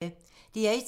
DR1